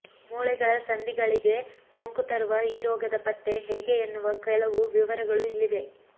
ಮೂಳೆಗಳ ಸಂಧಿಗಳಿಗೇ ಸೋಂಕು ತರುವ ಈ ರೋಗದ ಪತ್ತೆ ಹೇಗೆ ಎನ್ನುವ ಕೆಲವು ವಿವರಗಳು ಇಲ್ಲಿವೆ